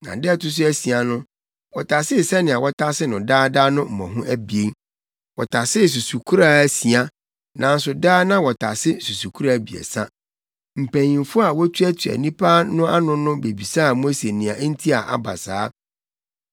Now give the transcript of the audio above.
Da a ɛto so asia no, wɔtasee sɛnea wɔtase no daa no mmɔho abien. Wɔtasee susukoraa asia, nanso daa na wɔtase susukoraa abiɛsa. Mpanyimfo a wotuatua nnipa no ano no bebisaa Mose nea nti a aba saa.